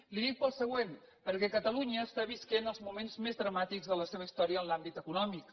li ho dic pel següent perquè catalunya està vivint els moments més dramàtics de la seva història en l’àmbit econòmic